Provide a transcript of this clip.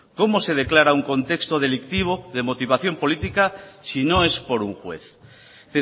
cómo se declara un contexto delictivo de motivación política sino es por un juez es